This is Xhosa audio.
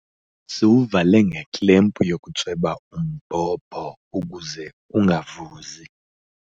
Siwuvale ngeklempu yokutsweba umbhobho ukuze ungavuzi.